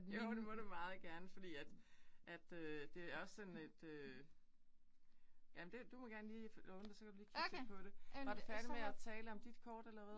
Jo det må du meget gerne fordi at at øh det er også sådan et øh. Ja men det du må gerne lige låne det så kan du lige kigge selv på det. Var du færdig med at tale om dit kort eller hvad?